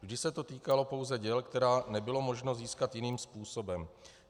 Vždy se to týkalo pouze děl, která nebylo možno získat jiným způsobem.